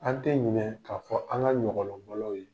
An tɛ ɲinɛn k'a fɔ ko an ka ɲɔgɔlɔn